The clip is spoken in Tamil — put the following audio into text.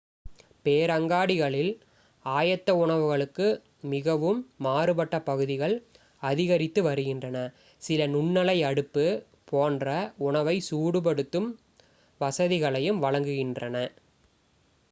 பேரங்காடிகளில் ஆயத்த உணவுகளுக்கு மிகவும் மாறுபட்ட பகுதிகள் அதிகரித்து வருகின்றன சில நுண்ணலை அடுப்பு போன்ற உணவை சூடு படுத்தும் வசதிகளையும் வழங்குகின்றன